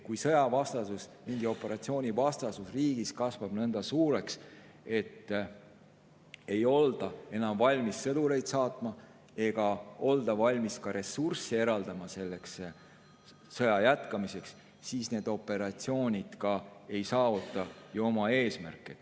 Kui sõjavastasus, mingi operatsiooni vastasus riigis kasvab nii suureks, et ei olda enam valmis sõdureid sinna saatma ega olda valmis ka eraldama ressursse sõja jätkamiseks, siis need operatsioonid ei saavuta oma eesmärki.